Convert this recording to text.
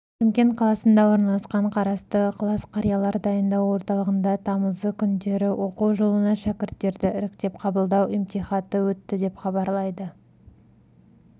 шымкент қаласында орналасқан қарасты ықылас қарилар дайындау орталығында тамызы күндері оқу жылына шәкірттерді іріктеп қабылдау емтихаты өтті деп хабарлайды